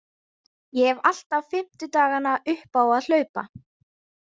Ég hef alltaf fimmtudagana upp á að hlaupa.